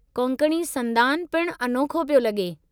कोंकणी संदान पिणु अनोखो पियो लॻे।